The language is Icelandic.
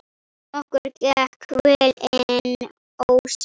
Okkur gekk vel inn ósinn.